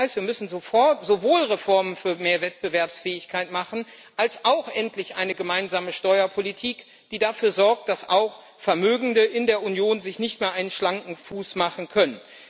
Das heißt, wir müssen sowohl Reformen für mehr Wettbewerbsfähigkeit machen als auch endlich eine gemeinsame Steuerpolitik, die dafür sorgt, dass auch Vermögende in der Union sich keinen schlanken Fuß mehr machen können.